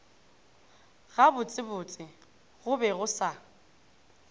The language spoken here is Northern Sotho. gabotsebotse go be go sa